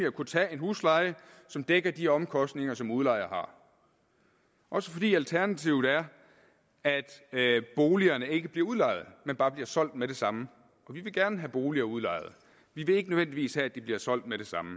at kunne tage en husleje som dækker de omkostninger som udlejer har også fordi alternativet er at boligerne ikke bliver udlejet men bare bliver solgt med det samme og vi vil gerne have boliger udlejet vi vil ikke nødvendigvis have at de bliver solgt med det samme